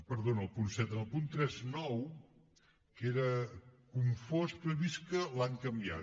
perdó no en el punt set en el punt trenta nou que era confós però he vist que l’han canviat